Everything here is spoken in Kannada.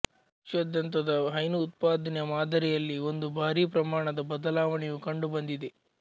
ವಿಶ್ವಾದ್ಯಂತದ ಹೈನು ಉತ್ಪಾದನೆಯ ಮಾದರಿಯಲ್ಲಿ ಒಂದು ಭಾರೀ ಪ್ರಮಾಣದ ಬದಲಾವಣೆಯು ಕಂಡುಬಂದಿದೆ